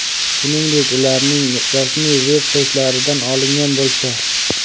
shuningdek ularning rasmiy veb-saytlaridan olingan bo‘lsa;.